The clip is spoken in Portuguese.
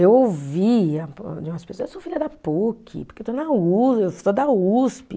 Eu ouvi de umas pessoas, eu sou filha da Puc, porque eu estou na Usp, eu sou da Usp.